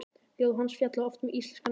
Ljóð hans fjalla oft um íslenska náttúru.